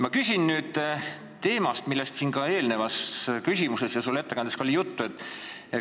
Ma küsin teema kohta, millest ka eelnevas küsimuses ja sinu ettekandes juttu oli.